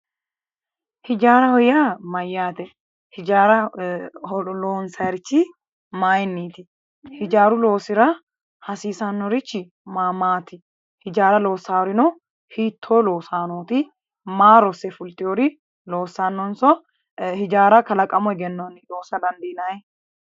Hijaaraho yaa mayate, hijaara loonsari mayiniti, hijaaru loosira hasiisanorichi ma ,maati? Hijaara loosarino hitto loosanoti ? Maa rosse fultinori loossanonso hijaara kalaqamu egennoni loosa dandiinanni?